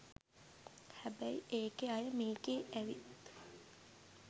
හැබැයි ඒකේ අය මේකේ ඇවිත්